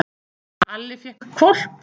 Alli fékk hvolp.